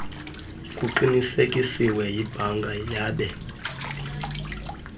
kuqinisekisiwe yibhanka yabe